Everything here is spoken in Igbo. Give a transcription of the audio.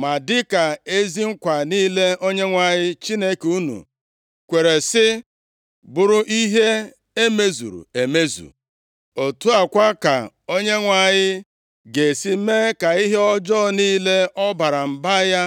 Ma dịka ezi nkwa niile Onyenwe anyị Chineke unu kwere si bụrụ ihe e mezuru emezu, otu a kwa ka Onyenwe anyị ga-esi mee ka ihe ọjọọ niile ọ bara mba ya